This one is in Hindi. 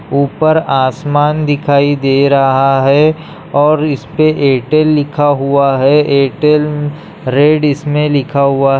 ऊपर आसमान दिखाई दे रहा है और इस पे एयरटेल लिखा हुआ है एयरटेल रेड इसमें लिखा हुआ --